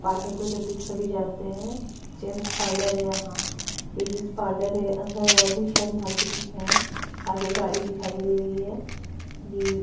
parlour तो जबी सभी जाते हैं जेंट्स पार्लर हैं यहाँ लेडीज़ पार्लर हैं अंदर और भी शायद मार्केटि हैं आगे गाडी दिखाई दे रही हैं ये--